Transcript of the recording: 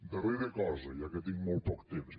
darrera cosa ja que tinc molt poc temps